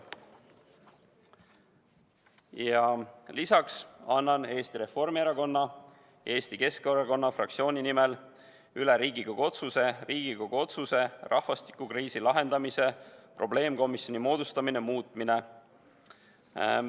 Ja veel annan Eesti Reformierakonna ja Eesti Keskerakonna fraktsiooni nimel üle Riigikogu otsuse "Riigikogu otsuse "Rahvastikukriisi lahendamise probleemkomisjoni moodustamine" muutmine" eelnõu.